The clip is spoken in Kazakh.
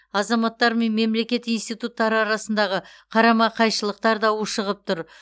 азаматтар мен мемлекет институттары арасындағы қарама қайшылықтар да ушығып тұр